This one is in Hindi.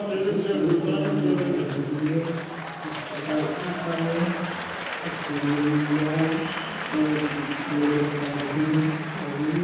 इसमें कांच के अंदर नाँव रखी हुई है इस प्रकार ऊपर एक सूर्य बना हुआ है उस पर एक लेडीज जा रही है आ रही--